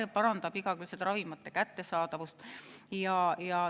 See parandab igakülgselt ravimite kättesaadavust.